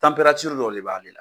dɔw de b'ale la.